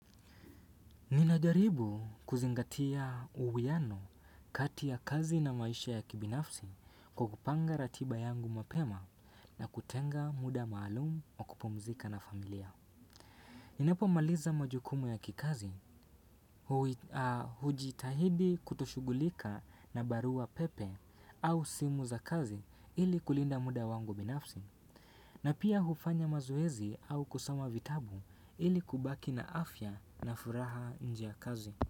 Ninajaribu kuzingatia uwiano kati ya kazi na maisha ya kibinafsi kwa kupanga ratiba yangu mapema na kutenga muda maalum wa kupumzika na familia. Ninapomaliza majukumu ya kikazi, hujitahidi kutoshughulika na barua pepe au simu za kazi ili kulinda muda wangu binafsi. Na pia hufanya mazoezi au kusoma vitabu ili kubaki na afya na furaha nje ya kazi.